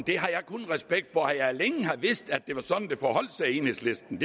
det har jeg kun respekt for at jeg længe har vist at det var sådan det forholdt sig i enhedslisten